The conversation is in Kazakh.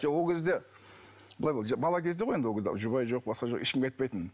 жоқ ол кезде былай ғой бала кезде ғой енді ол кезде жұбай жоқ басқа жоқ ешкімге айтпайтынмын